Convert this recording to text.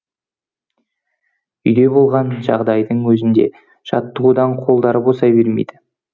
үйде болған жағдайдың өзінде жаттығудан қолдары босай бермейді